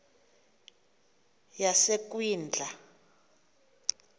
yasekwindla